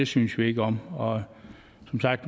synes vi ikke om og